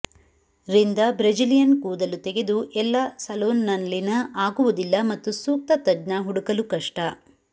ರಿಂದ ಬ್ರೆಜಿಲಿಯನ್ ಕೂದಲು ತೆಗೆದು ಎಲ್ಲಾ ಸಲೊನ್ಸ್ನಲ್ಲಿನ ಆಗುವುದಿಲ್ಲ ಮತ್ತು ಸೂಕ್ತ ತಜ್ಞ ಹುಡುಕಲು ಕಷ್ಟ